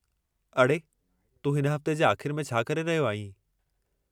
अड़े, तूं हिन हफ़्ते जे आख़िर में छा करे रहियो आहीं?